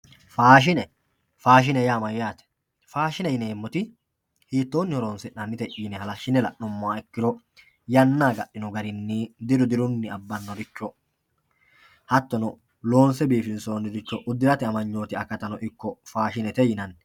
faashine faashine yaa mayyaate faashine yineemmoti hiittoonni horonsi'nannite yine halashshine la'nummoha ikkiro yanna agadhine diru abbanoricho hattono loonse biifinsoonniricho uddirate amanyooti akatano ikko faashinete yinanni.